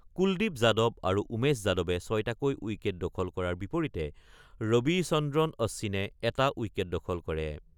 কুলদ্বীপ যাদৱ আৰু উমেশ যাদৱে ৬টাকৈ উইকেট দখল কৰাৰ বিপৰীতে ৰবিচন্দ্ৰন অশ্বিনে এটা উইকেট দখল কৰে।